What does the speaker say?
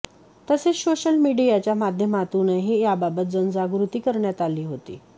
तसेच सोशल मिडीयाच्या माध्यमातूनही याबाबत जनजागृती करण्यात आली होती